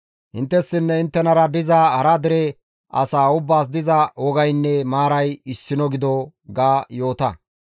Inttessinne inttenara diza hara dere asaa ubbaas diza wogaynne maaray issino gido› ga yoota.»